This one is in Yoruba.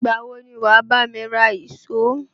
Ìgbà wo ni wà á bá mi ra ìṣó?